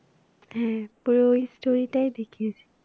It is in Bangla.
হ্যাঁ পুরো ওই story টাই দেখিয়েছে।